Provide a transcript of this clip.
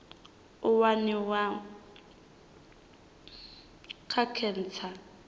u waniwa ha khentsa nga